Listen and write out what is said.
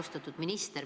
Austatud minister!